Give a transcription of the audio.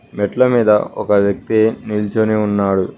మెట్ల మీద ఒక వ్యక్తి నిల్చోని ఉన్నాడు.